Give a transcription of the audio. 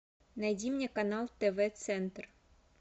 найди мне канал тв центр